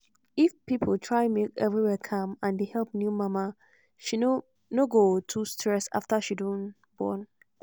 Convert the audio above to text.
stress wey new mama dey get no go too strong if dem dey give am good word wey dey help mind